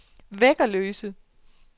Væggerløse